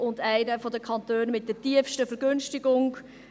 Und es ist einer der Kantone mit der tiefsten Vergünstigung.